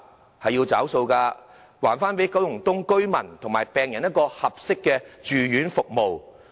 政府要"找數"了，還九龍東居民和病人合適的住院服務。